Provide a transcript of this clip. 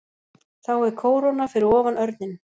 Þá er kóróna fyrir ofan örninn.